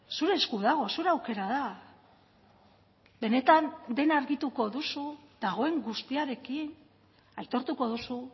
zure esku dago zure aukera da benetan dena argituko duzu dagoen guztiarekin aitortuko duzu